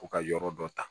Ko ka yɔrɔ dɔ ta